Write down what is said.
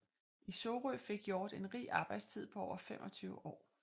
I Sorø fik Hjort en rig arbejdstid på over 25 år